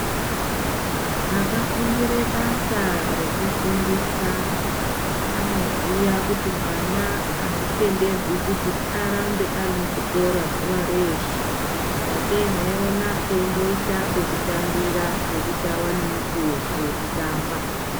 Akafundirale basa rekufundisa anoziya kuti mwana azvitenderwi kuti arambe ari muchikora zuwa reeshe. Sakei mweiona anoisa pekutambira, ambowana mukuwo wekutamba.